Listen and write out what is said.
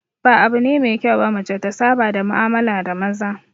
Ba abu ne mai kyau ba mace ta saba da mu'amala da maza